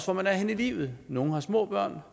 hvor man er henne i livet nogle har små børn